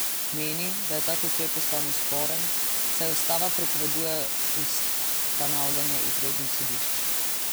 Meni, da je tak ukrep ustavno sporen, saj ustava prepoveduje ustanavljanje izrednih sodišč.